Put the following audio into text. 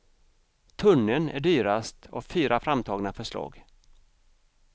Tunneln är dyrast av fyra framtagna förslag.